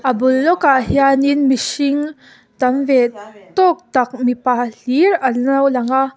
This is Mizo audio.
a bul lawkah hian in mihring tam ve tawk tak mipa hlir an lo lang a--